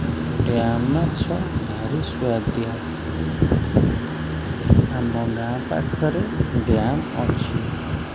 Dam ମାଛ ଭାରି ସୁଆଦିଆ ଆମ ଗାଁ ପାଖରେ ଡ୍ୟାମ ଅଛି।